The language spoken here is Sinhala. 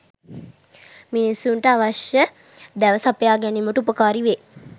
මිනිසුන්ට අවශ්‍ය දැව සපයා ගැනීමට උපකාරී වේ.